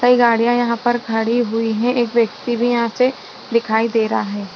कई गाड़ियां यहां पर खड़ी हुई है एक व्यक्ति भी यहां से दिखाई दे रहा है।